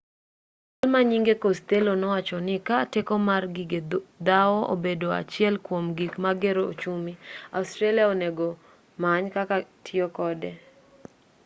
jalma nyinge costello nowachoni ka teko mar gige dhawo obedo achiel kuom gik magero ochumi australia onego many kaka tiyo kode